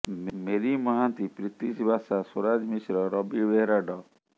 Marie Mohanty Pritish Basa Swaraj Mishra Ravi Behera ଡ